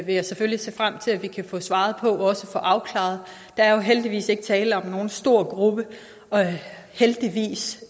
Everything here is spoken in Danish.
jeg selvfølgelig se frem til at vi kan få svaret på og også få afklaret der er jo heldigvis ikke tale om nogen stor gruppe heldigvis